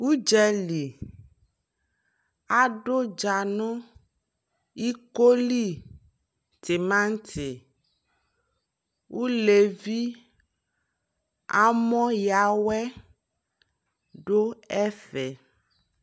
Udzali, adu dza nu iko li, tinati, ulɛvi, amɔ ya wɛ du ɛfɛ'